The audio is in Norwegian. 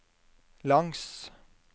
langs